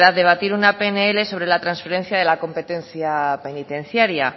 verdad debatir una pnl sobre la transferencia de la competencia penitenciaria